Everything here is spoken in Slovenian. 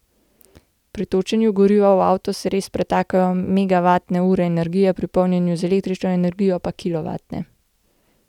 Pri točenju goriva v avto se res pretakajo megavatne ure energije, pri polnjenju z električno energijo pa kilovatne.